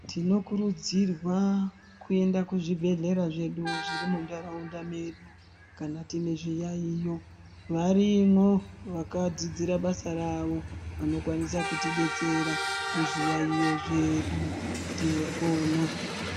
Tinokurudzirwa kuenda kuzvibhedhlera zvedu zviri mundaraunda medu kana tine zviyaiyo varimo vakadzidzira basa rawo vanokwanisa kuti detsera muzviyaiyo zvedu topona.